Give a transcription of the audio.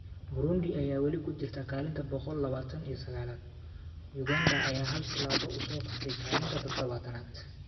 Burundi ayaa weli ku jirta kaalinta boqol labatan iyo sagalaad, Uganda ayaa hal tilaabo u soo kacday kaalinta tadabatanaad.